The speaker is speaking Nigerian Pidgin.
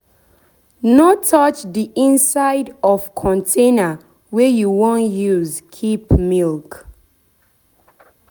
no touch the inside of container wey you wan use keep milk.